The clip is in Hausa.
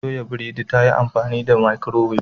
Ta toya biredin ta amfani da microwave.